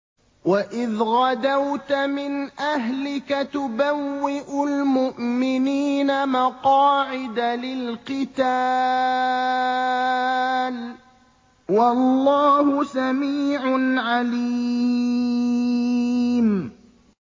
وَإِذْ غَدَوْتَ مِنْ أَهْلِكَ تُبَوِّئُ الْمُؤْمِنِينَ مَقَاعِدَ لِلْقِتَالِ ۗ وَاللَّهُ سَمِيعٌ عَلِيمٌ